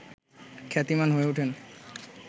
খ্যাতিমান হয়ে ওঠেন